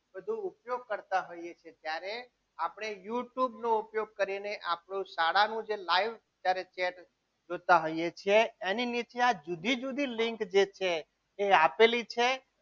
ઉપયોગ કરતા હોઈએ છીએ ત્યારે આપણે youtube નો ઉપયોગ કરીને આપણું શાળાનું જે live chat જોતા હોઈએ છીએ એની નીચે જુદી જુદી લીંક જે છે એ આપેલી છે.